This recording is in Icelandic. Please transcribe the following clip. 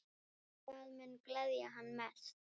Hvað mun gleðja mann mest?